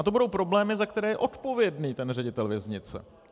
A to budou problémy, za které je odpovědný ten ředitel věznice.